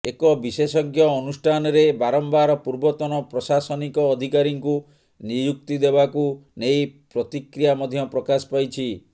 ଏକ ବିଶେଷଜ୍ଞ ଅନୁଷ୍ଠାନରେ ବାରମ୍ବାର ପୂର୍ବତନ ପ୍ରଶାସନିକ ଅଧିକାରୀଙ୍କୁ ନିଯୁକ୍ତି ଦେବାକୁ ନେଇ ପ୍ରତିକ୍ରିୟା ମଧ୍ୟ ପ୍ରକାଶ ପାଇଛି